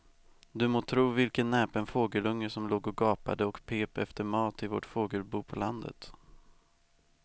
Du må tro vilken näpen fågelunge som låg och gapade och pep efter mat i vårt fågelbo på landet.